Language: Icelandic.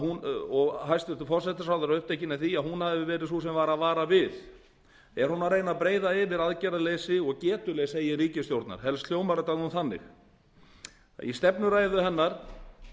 og hæstvirtur forsætisráðherra er upptekin af því að hún hafi verið sú sem var að vara við er hún að reyna að breiða yfir aðgerðaleysi og getuleysi eigin ríkisstjórnar helst hljómar þetta þannig í stefnuræðu hennar